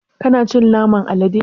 Kana cin naman alade?